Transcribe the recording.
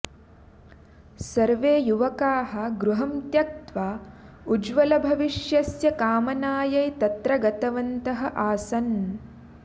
सर्वे युवकाः गृहं त्यक्त्वा उज्ज्वलभविष्यस्य कामनायै तत्र गतवन्तः आसन्